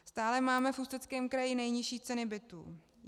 Stále máme v Ústeckém kraji nejnižší ceny bytů.